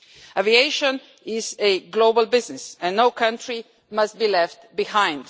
Aviation is a global business and no country must be left behind.